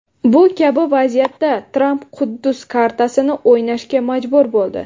Bu kabi vaziyatda Tramp Quddus kartasini o‘ynashga majbur bo‘ldi.